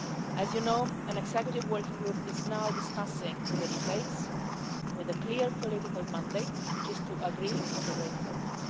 As you know, an executive working group is now discussing the details, with a clear political mandate, which is to agree on the way forward.